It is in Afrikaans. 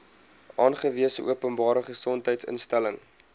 aangewese openbare gesondheidsinstelling